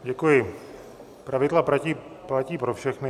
Děkuji, pravidla platí pro všechny.